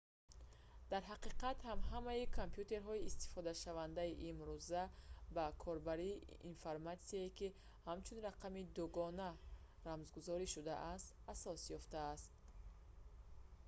дар ҳақиқат ҳам ҳамаи компютерҳои истифодашавандаи имрӯза ба корбарии информатсия ки ҳамчун рақами дугона рамзгузорӣ шудаанд асос ёфтааст